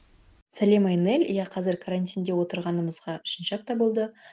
сәлем айнель иә қазір карантинге отырғанымызға үшінші апта болды